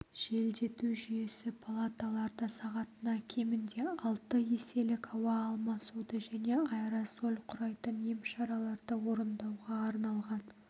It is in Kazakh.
желдету жүйесі палаталарда сағатына кемінде алты еселік ауа алмасуды және аэрозоль құрайтын емшараларды орындауға арналған